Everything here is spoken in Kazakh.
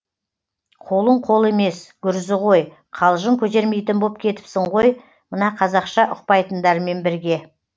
қолың қол емес гүрзі ғой қалжың көтермейтін боп кетіпсің ғой мына қазақша ұқпайтындармен бірге